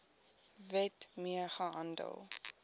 wet mee gehandel